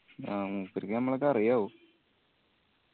ആ മൂപ്പർക്ക് ഞമ്മളൊക്കെ അറിയാവോ